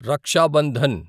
Raksha Bandhan